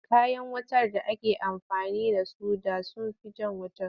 Kayan wutar da ake amfani da su da sun fi jan wuta.